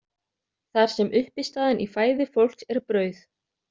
Þar sem uppistaðan í fæði fólks er brauð.